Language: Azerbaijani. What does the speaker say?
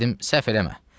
Dedim: səhv eləmə.